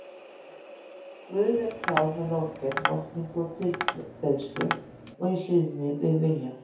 Guði er tjáð með lofgerð, lotningu og tilbeiðslu og í hlýðni við vilja